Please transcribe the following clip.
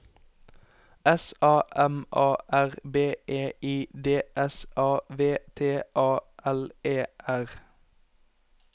S A M A R B E I D S A V T A L E R